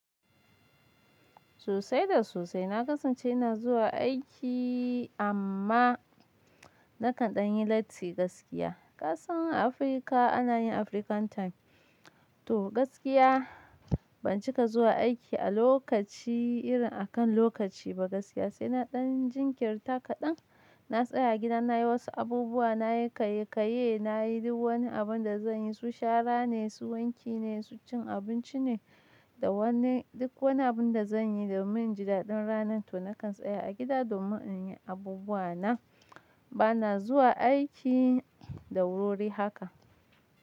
Sosai da sosai. Na kasance ina zuwa aiki amma nakan ɗan yi latti gaskiya. Ƙasan Afirka ana yin African time. To gaskiya ban cika zuwa aiki a lokaci irin a kan lokaci ba gaskiya. Sai na ɗan jinkirta kaɗan, na tsaya gida na yi wasu abubuwa, na yi kayyayye, na yi duk wani abun da zan yi. Su shara ne, su wanki ne, su cin abinci ne da duk wani abun da zan yi domin jidaɗin ranar to nakan tsaya a gida domin in yi abubuwa na. Bana zuwa aiki da wur wurihaka.